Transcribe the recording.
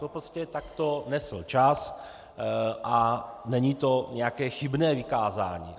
To prostě takto nesl čas a není to nějaké chybné vykázání.